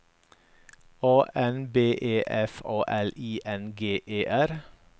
A N B E F A L I N G E R